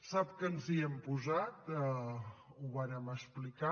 sap que ens hi hem posat ho vàrem explicar